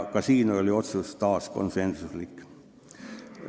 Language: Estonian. Ka siin oli otsus taas konsensuslik.